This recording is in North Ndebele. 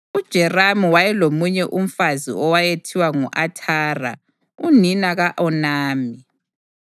UJerameli wayelomunye umfazi owayethiwa ngu-Athara unina ka-Onami.